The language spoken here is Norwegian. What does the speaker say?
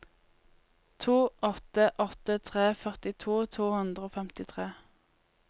to åtte åtte tre førtito to hundre og femtitre